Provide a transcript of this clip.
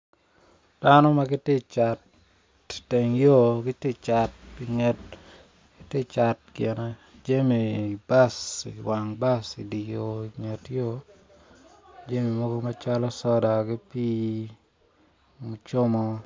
Dano ma gitye cat iteng yo giti cat inget gine jami bas iwang bas idi yo inget yo jami mogo macalo soda ki pii mucomo